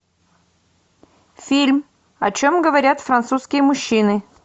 фильм о чем говорят французские мужчины